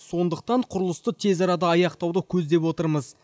сондықтан құрылысты тез арада аяқтауды көздеп отырмыз